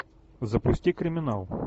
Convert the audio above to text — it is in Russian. запусти криминал